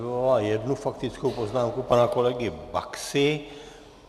Vyvolala jednu faktickou poznámku pana kolegy Baxy.